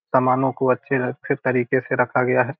समानों को अच्छे से अच्छे तरीके से रखा गया है।